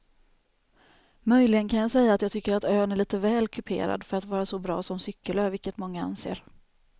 Möjligen kan jag säga att jag tycker att ön är lite väl kuperad för att vara så bra som cykelö vilket många anser.